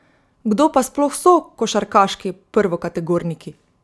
Kdo pa sploh so košarkarski prvokategorniki?